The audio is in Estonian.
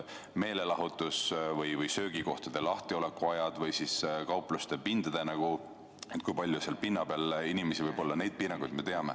Meelelahutus- ja söögikohtade lahtiolekuaegade piiranguid ja seda, kui palju võib inimesi kaupluse pinnal olla, me ka teame.